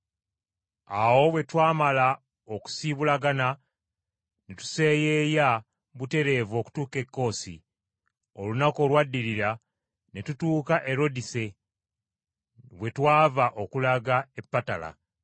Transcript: Awo bwe twamala okusiibulagana ne tuseeyeeya butereevu okutuuka e Koosi. Olunaku olwaddirira ne tutuuka e Rodise, we twava okulaga e Patala.